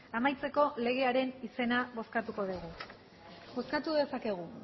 amaitzeko legearen izena bozkatuko dugu bozkatu dezakegu